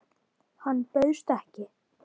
Hann bauðst ekki.